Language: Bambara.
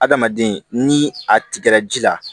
Adamaden ni a tigɛra ji la